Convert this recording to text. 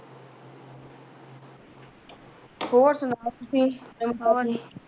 ਹੋਰ ਸੁਣਾਓ ਤੁਸੀਂ ਨਵੀਂ ਤਾਜ਼ੀ